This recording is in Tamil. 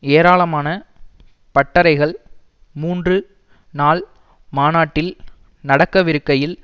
ஏராளமான பட்டறைகள் மூன்று நாள் மாநாட்டில் நடக்கவிருக்கையில்